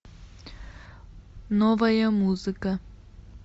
новая музыка